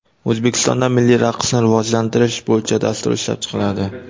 O‘zbekistonda milliy raqsni rivojlantirish bo‘yicha dastur ishlab chiqiladi.